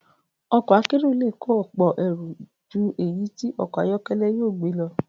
Ọkọ̀ akérò le kó ọ̀pọ̀ èrò ju èyí tí okò ayọ́kẹ́lẹ́ yóò gbé lọ.